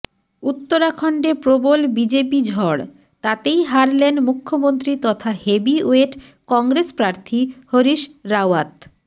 উত্তরাখণ্ডে প্রবল বিজেপি ঝড় তাতেই হারলেন মুখ্যমন্ত্রী তথা হেভিওয়েট কংগ্রেস প্রার্থী হরিশ রাওয়াত